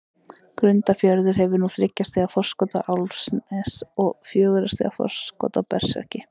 Grundarfjörður hefur núna þriggja stiga forskot á Álftanes og fjögurra stiga forskot á Berserki.